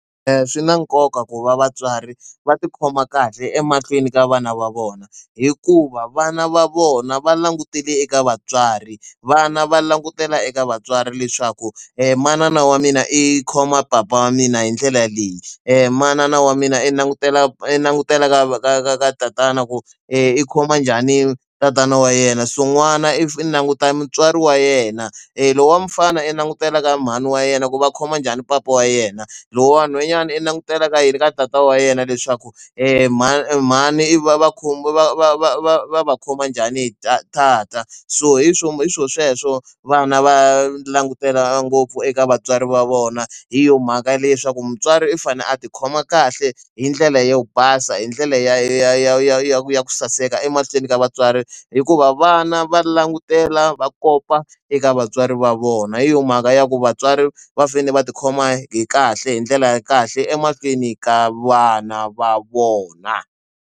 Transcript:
Swi na nkoka ku va vatswari va tikhoma kahle emahlweni ka vana va vona hikuva vana va vona va langutele eka vatswari vana va langutela eka vatswari leswaku manana wa mina i khoma papa wa mina hi ndlela leyi manana wa mina i langutela i langutela ka ka ka ka tatana ku i khoma njhani tatana wa yena swin'wana if i languta mutswari wa yena lowu wa mufana i langutela ka mhani wa yena ku va khoma njhani papa wa yena lowu wa nhwanyana i langutela ka yini ka tatana wa yena leswaku mhani mhani ivi va vakhomi va va va va va va khoma njhani hi ta ta ta so hi swo hi swo sweswo vana va langutela ngopfu eka vatswari va vona hi yo mhaka ya leswaku mutswari i fane a ti khoma kahle hi ndlela yo basa hi ndlela ya ya ya ya ya ku saseka emahlweni ka vatswari hikuva vana va langutela va kopa eka vatswari va vona hi yo mhaka ya ku vatswari va fanele va tikhoma hi kahle hi ndlela ya kahle emahlweni ka vana va vona.